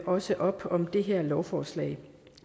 også op om det her lovforslag